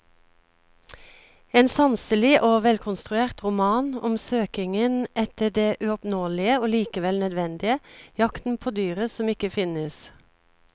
En sanselig og velkonstruert roman om søkingen etter det uoppnåelige og likevel nødvendige, jakten på dyret som ikke finnes.